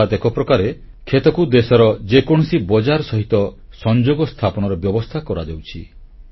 ଅର୍ଥାତ୍ ଏକପ୍ରକାରେ କ୍ଷେତକୁ ଦେଶର ଯେକୌଣସି ବଜାର ସହିତ ସଂଯୋଗ ସ୍ଥାପନର ବ୍ୟବସ୍ଥା କରାଯାଉଛି